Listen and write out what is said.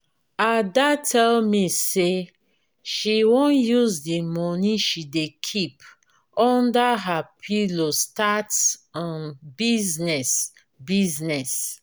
ada tell me say she wan use the money she dey keep under her pillow start um business business.